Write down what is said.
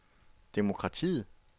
demokratiet